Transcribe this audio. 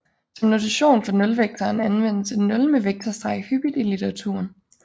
Som notation for nulvektoren anvendes et nul med vektorstreg hyppigt i litteraturen